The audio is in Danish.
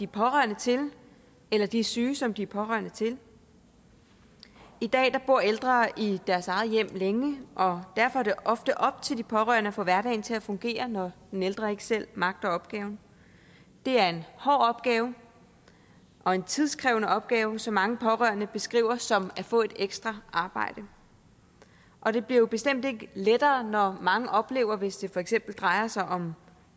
pårørende til eller de syge som de er pårørende til i dag bor ældre i deres eget hjem længe og derfor er det ofte op til de pårørende at få hverdagen til at fungere når den ældre ikke selv magter opgaven det er en hård opgave og en tidskrævende opgave som mange pårørende beskriver som at få et ekstra arbejde og det bliver jo bestemt ikke lettere når mange oplever hvis det for eksempel drejer sig om